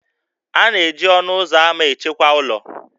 A na-eji ọnụ ụzọ ámá echekwa ụlọ